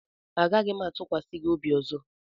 Agaghị m atụkwasị gị obi ọzọ